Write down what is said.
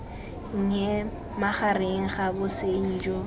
nnye magareng ga bosenyi jo